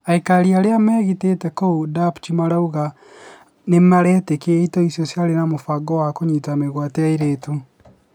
Aikarĩ arĩa megitĩte kũu Dapchi marauga nĩmaretĩkia itoi icio ciarĩ na mũbango wa kũnyita mĩgwate airĩtũ